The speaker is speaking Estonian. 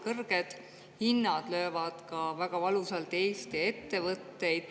Kõrged hinnad löövad väga valusalt Eesti ettevõtteid.